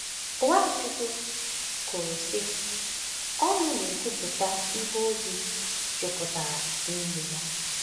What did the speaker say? NwaChukwu kwuru, sị: “Ọnụ na-ekwupụta ihe obi jupụtara n’ime ya.”